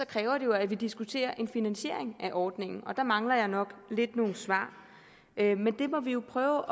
kræver at vi diskuterer en finansiering af ordningen og der mangler jeg nok lidt nogle svar men det må vi jo prøve